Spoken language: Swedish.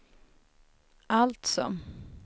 alltså